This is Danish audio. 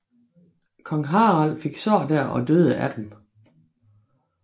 Kong Harald fik sår der og døde af dem